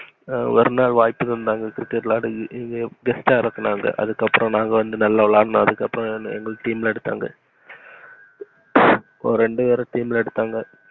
ஒரு நாள் வாய்ப்பு தந்தாங்க cricket விளாடக்கு அதுக்கு அப்புறம் நாங்க வந்து நல்ல விளையண்டோம். எங்கள team ல எடுத்தாங்க ஒரு ரெண்டு பெற team எடுத்தாங்க.